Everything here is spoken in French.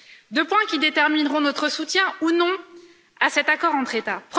Deux points qui détermineront notre soutien, ou non, à cet accord entre États.